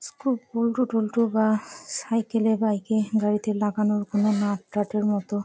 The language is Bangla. স্ক্রু বল্টু টল্টু বা সাইকেল -এ বাইক -এ গাড়িতে লাগানোর কোন নাট টাটের মত--